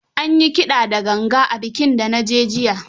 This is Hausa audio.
An yi kida da ganga a bikin da na je jiya.